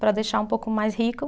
Para deixar um pouco mais rico.